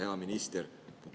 Hea minister!